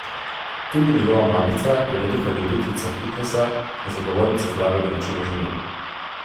Tudi njegova mamica je velika ljubiteljica fitnesa in zagovornica zdravega načina življenja.